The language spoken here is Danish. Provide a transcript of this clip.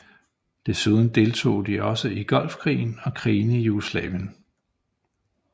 Desuden deltog de også i Golfkrigen og krigene i Jugoslavien